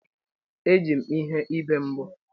Eji m ihe ibe mbọ.